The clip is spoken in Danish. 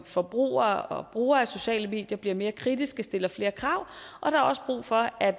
forbrugere og brugere af sociale medier bliver mere kritiske og stiller flere krav og der er også brug for at